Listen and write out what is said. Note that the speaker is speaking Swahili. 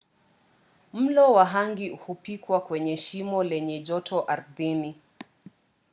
mlo wa hangi hupikiwa kwenye shimo lenye joto ardhini